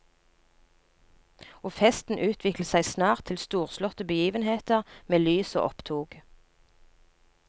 Og festen utviklet seg snart til storslåtte begivenheter med lys og opptog.